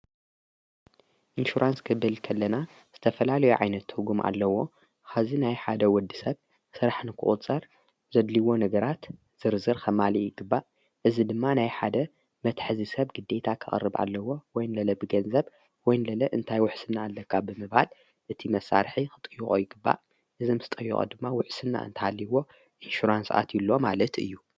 ኢንሽራንስ ክበል ከለና ዝተፈላል ዮዮዓይነት ሕጊ ኣለዎ ኸዚ ናይ ሓደ ወዲ ሰብ ሥራሕ ንክቕፀር ዘድልይዎ ንግራት ዝርዝር ኸማል ይግባእ እዝ ድማ ናይ ሓደ መትሕዚ ሰብ ግደታ ኸቕርብ ኣለዎ ወይንለለ ብገንዘብ ወይንለለ እንታይ ውሕስና ኣለቃ ብምባል እቲ መሣርሒ ኽጥይቖ ይግባእ እዝም ስ ጠይቐ ድማ ውሕስና እንታሃልይዎ ኢንሽራንስኣት ዩሎ ማለት እዩ።